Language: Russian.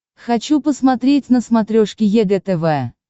хочу посмотреть на смотрешке егэ тв